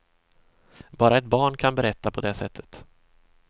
Bara ett barn kan berätta på det sättet.